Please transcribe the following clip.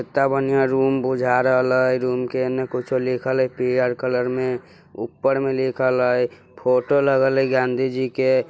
एत्ता बनिहां रूम बुझा रहल हय रूम के एन्ने कुछो लिखल हय पियर कलर में ऊप्पर में लिखल हय फोटो लगल हय गांधीजी के।